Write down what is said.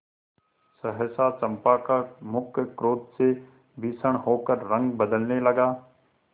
सहसा चंपा का मुख क्रोध से भीषण होकर रंग बदलने लगा